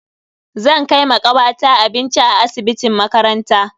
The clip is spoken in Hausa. Zan kai ma kawata abinci a asibitin makaranta.